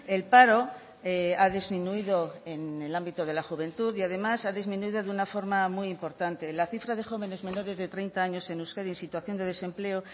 el paro ha disminuido en el ámbito de la juventud y además ha disminuido de una forma muy importante la cifra de jóvenes menores de treinta años en euskadi en situación de desempleo